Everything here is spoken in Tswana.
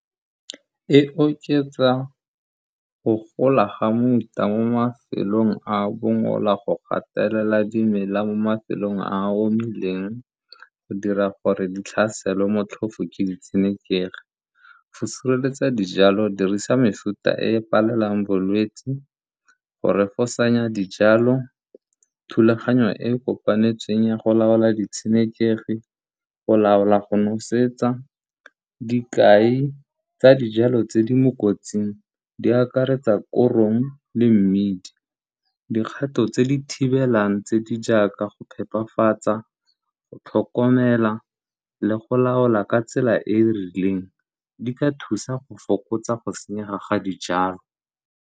E oketsa go gola ga muta mo mafelong a a bongola go gatelela dimela mo mafelong a a omileng go dira gore di tlhaselwe motlhofo ke ditshenekegi. Go sireletsa dijalo dirisa mefuta e e palelang bolwetsi, go refosanya dijalo, thulaganyo e kopanetsweng ya go laola ditshenekegi, go laola go nosetsa. Dikai tsa dijalo tse di mo kotsing di akaretsa korong le mmidi. Dikgato tse di thibelang tse di jaaka go phepafatsa, go tlhokomela le go laola ka tsela e e rileng di ka thusa go fokotsa go senyega ga dijalo.